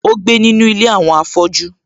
Ó gbé nínu ilé àwọn afọ́jú